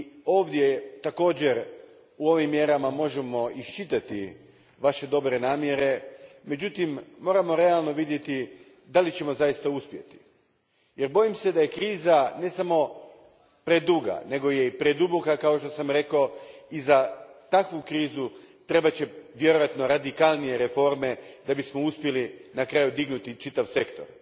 Ovdje također u ovim mjerama možemo isčitati vaše dobre namjere, međutim moramo realno vidjeti da li ćemo zaista uspjeti jer bojim se da je kriza ne samo preduga, nego je i preduboka kao što sam rekao, i za takvu krizu trebat će vjerojatno radikalnije reforme da bismo uspjeli na kraju dignuti čitav sektor.